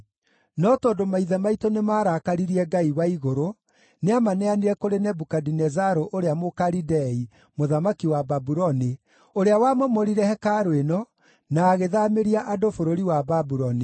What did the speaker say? No tondũ maithe maitũ nĩmarakaririe Ngai wa igũrũ, nĩamaneanire kũrĩ Nebukadinezaru ũrĩa Mũkalidei, mũthamaki wa Babuloni, ũrĩa wamomorire hekarũ ĩno na agĩthaamĩria andũ bũrũri wa Babuloni.